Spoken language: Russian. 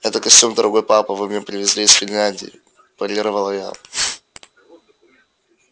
этот костюм дорогой папа вы мне привезли из финляндии парировала я